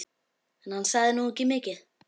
En hann sagði nú ekki mikið.